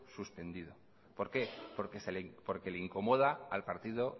suspendido por qué porque le incomoda al partido